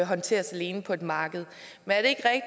håndteres alene på et marked men